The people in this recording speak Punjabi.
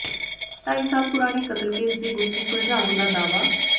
ਢਾਈ ਸਾਲ ਪੁਰਾਣੇ ਕਤਲ ਕੇਸ ਦੀ ਗੁੱਥੀ ਸੁਲਝਾਉਣ ਦਾ ਦਾਅਵਾ